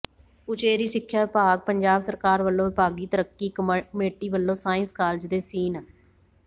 ਉਚੇਰੀ ਸਿੱਖਿਆ ਵਿਭਾਗ ਪੰਜਾਬ ਸਰਕਾਰ ਵੱਲੋਂ ਵਿਭਾਗੀ ਤਰੱਕੀ ਕਮੇਟੀ ਵੱਲੋਂ ਸਾਇੰਸ ਕਾਲਜ ਦੇ ਸੀਨ